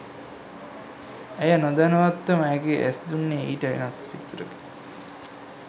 ඇය නොදැනුවත්වම ඇගේ ඇස් දුන්නේ ඊට වෙනස් පිළිතුරකි